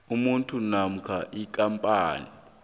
umuntu namkha ikampani